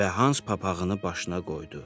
Və Hans papağını başına qoydu.